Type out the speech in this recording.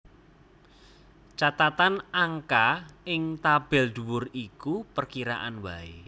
Catatan Angka ing tabel dhuwur iku perkiraan waé